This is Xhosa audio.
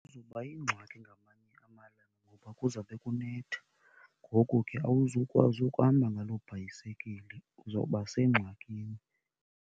Izoba yingxaki ngamanye amalanga ngoba kuzawube kunetha. Ngoku ke awuzukwazi ukuhamba ngaloo bhayisekile, uzoba sengxakini.